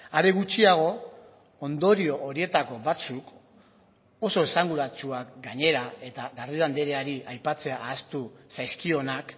are gutxiago ondorio horietako batzuk oso esanguratsuak gainera eta garrido andreari aipatzea ahaztu zaizkionak